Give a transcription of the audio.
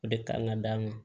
O de kan ka d'a ma